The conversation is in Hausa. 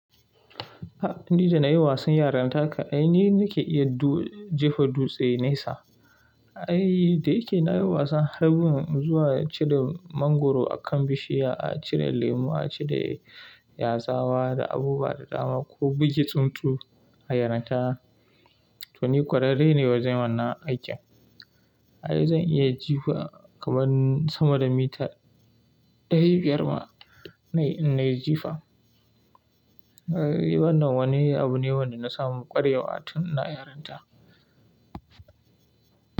Ni da na yi wasan yaranta ka, ai ni nake iya jefa dutse nesa. Ai da yake na yi wasan harbin zuwa cire mangwaro a kan bishiya, a cire lemo, a cire yazawa, da abubuwa da dama ko bugi tsuntsu a yaranta, to ni ƙwararre ne wajen wannan aikin. Ai zan iya jifa kaman sama da mita ɗari biyar ma na yi jifa. Shi wannan wani abu ne wanda na samu ƙware wa tun ina yarinta?